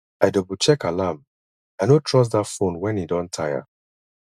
i doublecheck alarm i no trust that phone when e don tire